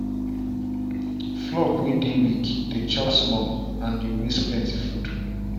flock way dey weak dey chop small and dey waste plenty food.